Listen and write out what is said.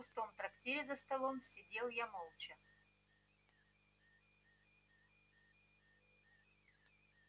в пустом трактире за столом сидел я молча